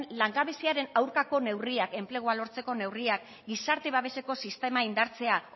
langabeziaren aurkako neurriak enplegua lortzeko neurriak gizarte babeseko sistema indartzea